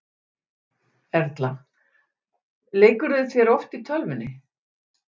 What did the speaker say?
Erla: Leikurðu þér oft í tölvunni?